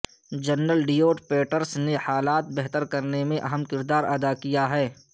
general David Petraeus نے حالات بہتر کرنے میں اہم کردار اد کیا ہے